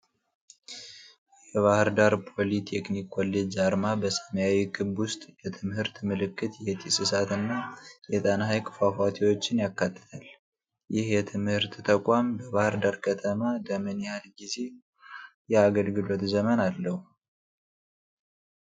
የባህር ዳር ፖሊ ቴክኒክ ኮሌጅ አርማ በሰማያዊ ክብ ውስጥ፣ የትምህርት ምልክት፣ የጢስ እሳት እና የጣና ሃይቅ ፏፏቴዎችን ያካትታል። ይህ የትምህርት ተቋም በባህር ዳር ከተማ ለምን ያህል ጊዜ የአገልግሎት ዘመን አለው?